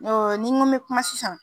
Oo n'i n ko n me kuma sisan